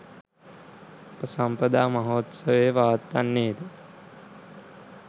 උපසම්පදා මහෝත්සවය පවත්වන්නේ ද